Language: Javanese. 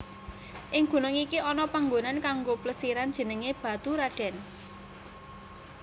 Ing gunung iki ana panggonan kanggo plesiran jenengé Baturadèn